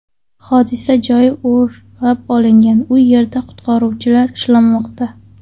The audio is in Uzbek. Hodisa joyi o‘rab olingan, u yerda qutqaruvchilar ishlamoqda.